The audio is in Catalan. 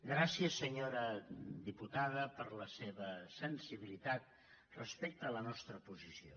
gràcies senyora diputada per la seva sensibilitat respecte a la nostra posició